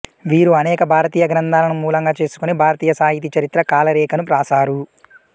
వీరు అనేక భారతీయ గ్రంథాలను మూలంగా చేసుకుని భారతీయ సాహితీ చరిత్ర కాలరేఖను వ్రాసారు